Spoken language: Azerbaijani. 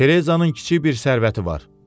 Terezanın kiçik bir sərvəti var.